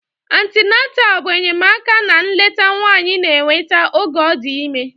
Antịnantal bụ enyemaka na nleta nwanyị na-enweta oge ọ dị ime.